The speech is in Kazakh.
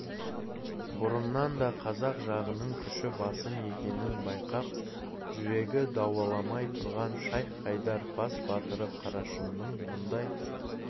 бұрыннан да қазақ жағының күші басым екенін байқап жүрегі дауаламай тұрған шайх-хайдар бас батыры қарашыңның мұндай